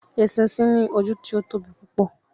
Eṣinṣin ní ojú tí o tóbi púpọ